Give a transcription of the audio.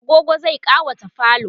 agogo zai ƙawata falo